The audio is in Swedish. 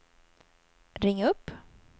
ring upp